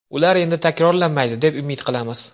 Ular endi takrorlanmaydi deb umid qilamiz.